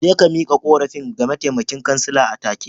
Je ka miƙa korafin ga mataimakin kansila atake.